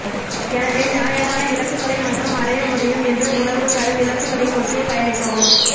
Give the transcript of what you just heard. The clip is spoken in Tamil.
எனவே நியாயமான இலக்குகளை மற்றும் அடைய முடியும் என்று உணர்வு தரும் இலக்குகளை நோக்கியே பயணிக்கவும்